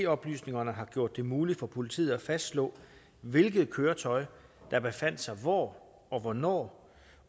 oplysningerne har gjort det muligt for politiet at fastslå hvilket køretøj der befandt sig hvor og hvornår